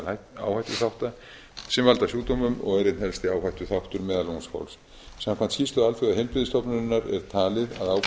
meðal áhættuþátta sem valda sjúkdómum og er einn helsti áhættuþáttur meðal ungs fólks samkvæmt skýrslu alþjóðaheilbrigðisstofnunarinnar er talið